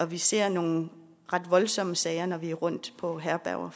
vi ser nogle ret voldsomme sager når vi er rundt på herberger